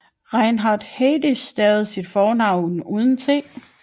Reinhard Heydrich stavede sit fornavn uden t